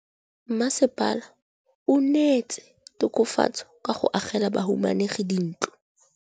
Mmasepala o neetse tokafatsô ka go agela bahumanegi dintlo.